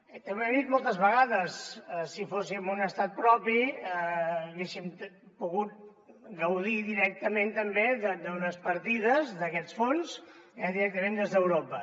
també ho he dit moltes vegades si fóssim un estat propi haguéssim pogut gaudir directament també d’unes partides d’aquests fons directament des d’europa